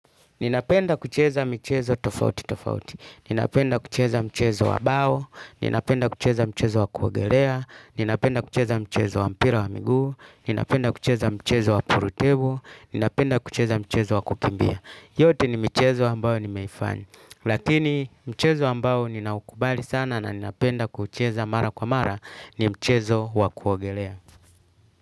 Ninapenda kucheza michezo tofautitofauti, ninapenda kucheza mchezo wa bao, ninapenda kucheza mchezo wa kuogelea, ninapenda kucheza mchezo wa mpira wa miguu, ninapenda kucheza mchezo wa purutebu, ninapenda kucheza mchezo wa kukimbia. Yote ni mcihezo ambayo nimeifanya. Lakini mchezo ambaylo ninaukubali sana na ninapenda kucheza mara kwa mara ni mchezo wa kuogelea.